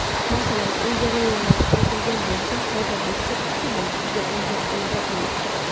Masalan, ilgari mevalar quritilgan bo‘lsa, hozirda shok usulida muzlatilmoqda.